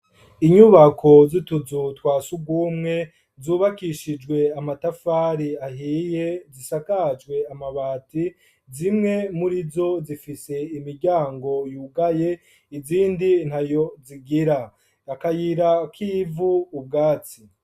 Inyubako z'utuzu twa surwumwe, zubakishijwe amatafari ahiye, zisakajwe amabati; zimwe muri zo, zifise imiryango yugaye, izindi ntayo zigira; akayira k'ivu, ubwatsi.